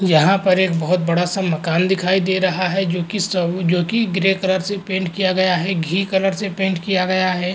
यहाँ पर एक बहोत बड़ा सा मकान दिखाई दे रहा है जो कि श जो कि ग्रे कलर से पेंट किया गया है। घी कलर से पेंट किया गया है।